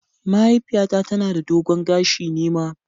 Mahaifiyata tana da dogon gashi, ni ma.